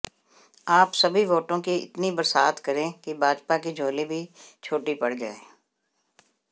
आप सभी वोटों की इतनी बरसात करें कि भाजपा की झोली भी छोटी पड़ जाए